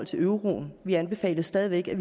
til euroen vi anbefalede stadig væk at